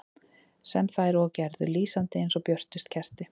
Sem þær og gerðu, lýsandi eins og björtust kerti.